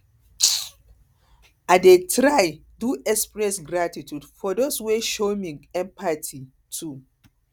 um i um dey try to express gratitude express gratitude for those wey show me empathy too